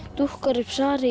dúkkar upp svarið í